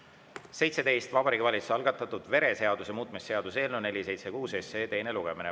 Vabariigi Valitsuse algatatud vereseaduse muutmise seaduse eelnõu 476 teine lugemine.